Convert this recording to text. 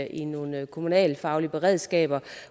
i nogle kommunalfaglige beredskaber